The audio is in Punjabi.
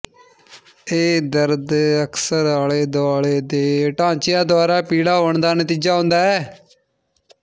ਇਹ ਦਰਦ ਅਕਸਰ ਆਲੇ ਦੁਆਲੇ ਦੇ ਢਾਂਚਿਆਂ ਦੁਆਰਾ ਪੀਲਾ ਹੋਣ ਦਾ ਨਤੀਜਾ ਹੁੰਦਾ ਹੈ